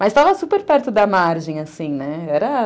Mas estava super perto da margem, assim, né? era